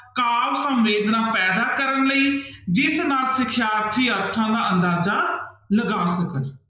ਕਾਵਿ ਸੰਵੇਦਨਾ ਪੈਦਾ ਕਰਨ ਲਈ ਜਿਸ ਨਾਲ ਸਿਖਿਆਰਥੀ ਅਰਥਾਂ ਦਾ ਅੰਦਾਜਾ ਲਗਾ ਸਕਣ।